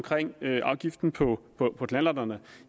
afgiften på knallerterne